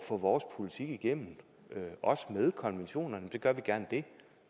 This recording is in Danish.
få vores politik igennem også med konventionerne så gør vi gerne det